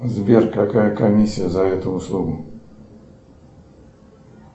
сбер какая комиссия за эту услугу